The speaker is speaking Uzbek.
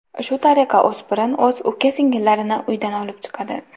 Shu tariqa, o‘spirin o‘z uka-singillarini uydan olib chiqadi.